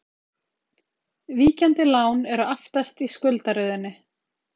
Víkjandi lán eru aftast í skuldaröðinni.